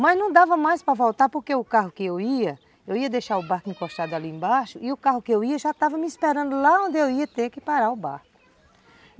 Mas não dava mais para voltar porque o carro que eu ia, eu ia deixar o barco encostado ali embaixo e o carro que eu ia já estava me esperando lá onde eu ia ter que parar o barco.